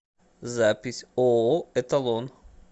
запись ооо эталон